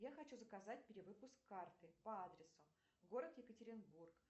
я хочу заказать перевыпуск карты по адресу город екатеринбург